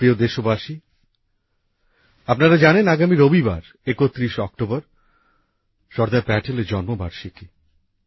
আমার প্রিয় দেশবাসী আপনারা জানেন আগামী রবিবার ৩১শে অক্টোবর সর্দার প্যাটেলের জন্মবার্ষিকী